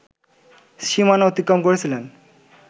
সীমানা অতিক্রম করেছিলেন